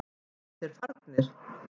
Eru þeir farnir?